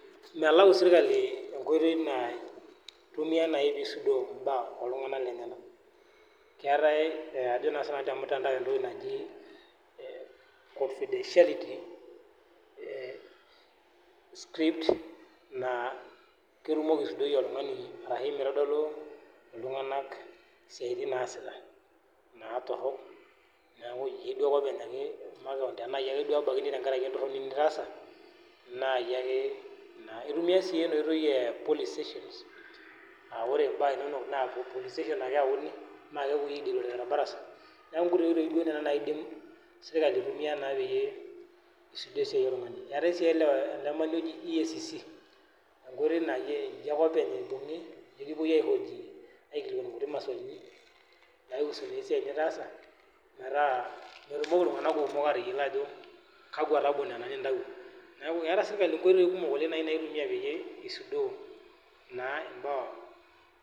Melau serkali enkoitoi nai naiko peisudoo mbaa oltunganak lenyenak keetae na ajo sinanu tormutandao entoki naji confidentiality script na ketumoki aisudoi oltungani arashu mitodolu ltunganak siatin naasita na torok neaku tana yie ake ibungaki makeon embaki entoroni nitaasa na iyie ake ,itumia si enaoitoi e polling station makepoi aideal torbarasa ,neaku nkoitoi duo nai nona naidim serkali aitumia isudoo esiai oltunganak, eetai sii eacc enkoitoi na iyie ake openy ibungi, aihoji nikingilikwani nkuti maswali naihusuni esiai nitaasa metaa metumoki ltunganak kumok atayiolo ajo kakwa tabo nona nintawuo, neaku eeta serkali nkoitoi kumok naitumia nai pisudoo na imbaa.